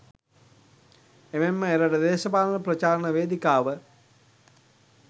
එමෙන්ම එරට දේශපාලන ප්‍රචාරණ වේදිකාව